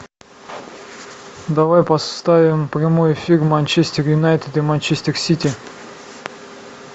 давай поставим прямой эфир манчестер юнайтед и манчестер сити